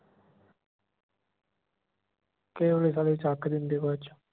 ਕਈ ਵਰੀ ਸਾਲੇ ਚੱਕ ਦਿੰਦੇ ਬਾਅਦ ਚ